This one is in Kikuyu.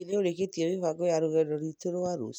Hihi nĩ ũrĩkĩtĩe mĩbango ya rũgendo rwitũ rwa rũciũ